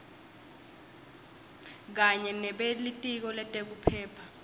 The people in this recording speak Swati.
kanye nebelitiko letekuphepha